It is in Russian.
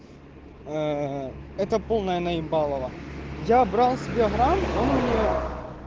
ээ это полное наебалово я брал себе грамм он у нее